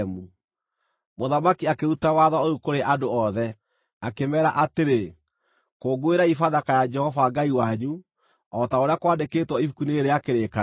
Mũthamaki akĩruta watho ũyũ kũrĩ andũ othe, akĩmeera atĩrĩ, “Kũngũĩrai Bathaka ya Jehova Ngai wanyu, o ta ũrĩa kwandĩkĩtwo Ibuku-inĩ rĩĩrĩ rĩa Kĩrĩkanĩro.”